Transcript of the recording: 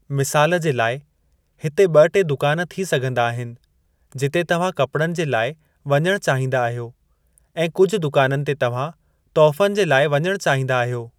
मिसालु जे लाइ, हिते ब॒-टे दुकान थी सघिंदा आहिनि जिते तव्हां कपड़नि जे लाइ वञणु चाहींदा आहियो ऐं कुझु दुकाननि ते तव्हां तोहफ़नि जे लाइ वञणु चाहींदा आहियो।